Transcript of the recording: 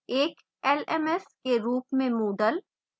एक lms के रूप में moodle